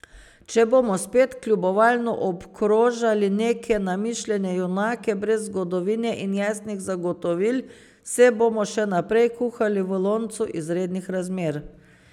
Če bomo spet kljubovalno obkrožali neke namišljene junake brez zgodovine in jasnih zagotovil, se bomo še naprej kuhali v loncu izrednih razmer.